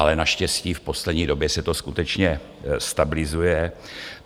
ale naštěstí v poslední době se to skutečně stabilizuje.